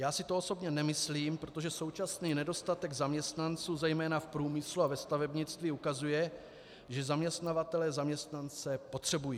Já si to osobně nemyslím, protože současný nedostatek zaměstnanců zejména v průmyslu a ve stavebnictví ukazuje, že zaměstnavatelé zaměstnance potřebují.